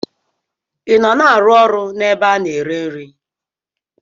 I nọ na-arụ ọrụ n'ebe a na-ere nri?